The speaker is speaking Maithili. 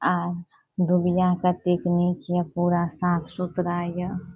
आ दुनिया कतेक निक ये साफ सुथरा ये।